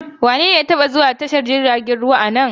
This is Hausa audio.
Wanene ya taba zuwa tashar jiragen ruwa a nan?